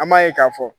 An b'a ye k'a fɔ